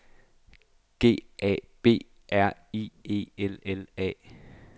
G A B R I E L L A